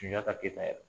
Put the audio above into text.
Sunjata keyita yɛrɛ